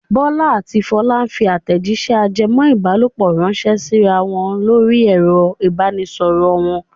Bọ́lá àti Fọlá ń fi àtẹ̀jíṣẹ́ ajẹmọ́-ìbálòpọ̀ ránṣẹ́ síra wọn lórí ẹ̀rọ ìbanisọ̀rọ̀ wọn.